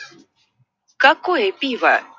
какое пиво